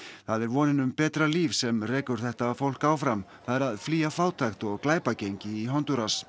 það er vonin um betra líf sem rekur þetta fólk áfram það er að flýja fátækt og glæpagengi í Hondúras